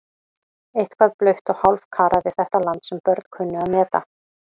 Eitthvað blautt og hálfkarað við þetta land sem börn kunnu að meta.